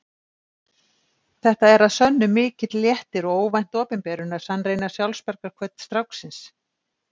Þetta er að sönnu mikill léttir og óvænt opinberun að sannreyna sjálfsbjargarhvöt stráksins.